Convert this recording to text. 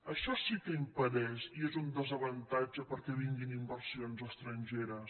això sí que impedeix i és un desa·vantatge perquè vinguin inversions estrangeres